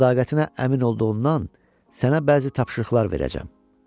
Sədaqətinə əmin olduğundan sənə bəzi tapşırıqlar verəcəm.